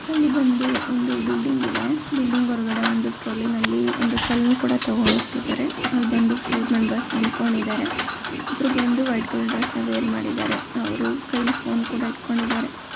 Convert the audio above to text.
ಇಲ್ಲಿ ಬಂದು ಒಂದು ಬಿಲ್ಡಿಂಗ್ ಇದೆ. ಬಿಲ್ಡಿಂಗ್ ಹೊರಗಡೆ ರಾಲಿನಲ್ಲಿ ಒಂದು ಕಲ್ಲನ್ನು ತೆಗೆದುಕೊಂಡು ಹೋಗುತ್ತಿದ್ದಾರೆ ಅಲ್ಲಿಫೋರ್ಮೆಂ ಬರ್ಸ್ ಇದ್ದಾರೆ ಒಬ್ಬರು ಬಂದು ವೈಟ್ ಕಲರ್ ಡ್ರೆಸ್ ನ ವೇರ್ ಮಾಡಿದ್ದಾರೆ ಅವರ ಕೈಯಲ್ಲಿ ಫೋನ್ ಇಟ್ಟುಕೊಂಡಿದ್ದಾರೆ.